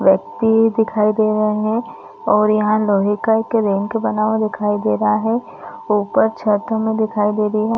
व्यक्ति दिखाई दे रहे है और यहाँ लोहे का एक रिंक बना हुआ दिखाई दे रहा है ऊपर छत हमे दिखाई दे रही है।